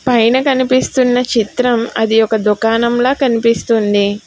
పైన కనిపిస్తున్న చిత్రం అది ఒక దుకాణంలా కనిపిస్తుంది.